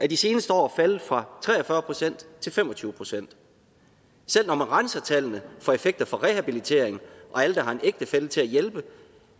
de seneste år faldet fra tre og fyrre procent til fem og tyve procent selv når man renser tallene for effekter af rehabilitering og alle der har en ægtefælle til at hjælpe